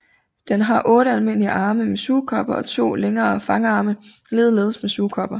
Den har 8 almindelige arme med sugekopper og 2 længere fangarme ligeledes med sugekopper